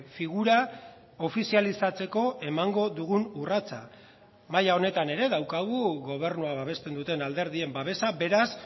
figura ofizializatzeko emango dugun urratsa maila honetan ere daukagu gobernua babesten duten alderdien babesa beraz